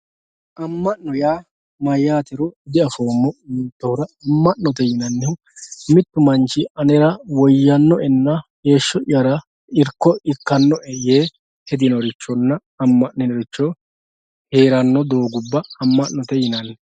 amma'no yaa mayaatero diafoomo yotoora amma'note yinanihu mittu manch anera woyyanno'enna heeshsho'yara irko ikkanno'e yee hedinorichonna amma'ninoricho heeranno doogubba amma'note yinanni.